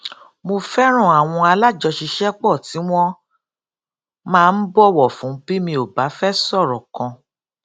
mo fẹran àwọn alájọṣiṣẹpọ tí wọn máa ń bọwọ fún bí mi ò bá fẹ sọrọ kan